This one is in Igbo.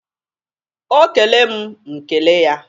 O kele m, m kele ya.